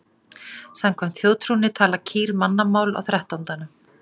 Samkvæmt þjóðtrúnni tala kýr mannamál á þrettándanum.